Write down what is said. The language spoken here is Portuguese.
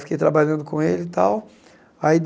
Fiquei trabalhando com ele e tal. Aí